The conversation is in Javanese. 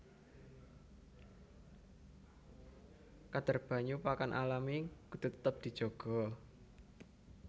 Kadhar banyu pakan alami kudu tetep dijaga